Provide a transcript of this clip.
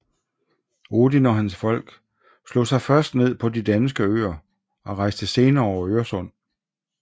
Odin og hans folk slog sig først ned på de danske øer og rejste senere over Øresund